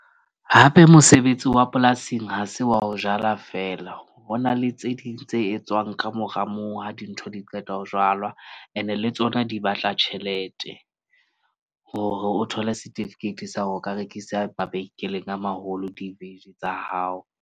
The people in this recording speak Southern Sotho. Hape, mosebetsi wa polasing ha se wa o jala fela. Ho na le tse ding tse etswang kamora moo. Ha dintho di qeta ho jwalwa, ene le tsona di batla tjhelete, hore o thole setifikeiti sa hore o ka rekisa mabenkeleng a maholo di tsa hao.